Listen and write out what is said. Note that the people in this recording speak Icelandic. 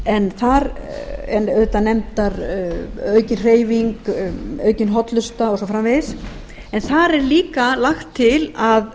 en þar eru auðvitað nefndar aukin hreyfing aukin hollusta og svo framvegis en þar er líka lagt til að